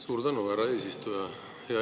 Suur tänu, härra eesistuja!